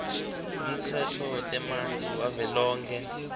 umtsetfo wetemanti wavelonkhe